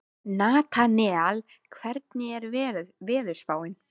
Natanael, hvernig er veðurspáin?